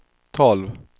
tolv